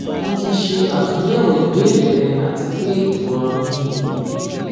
mo ti ṣe atunyẹwo ibeere rẹ ati pe imọran mi ni eyi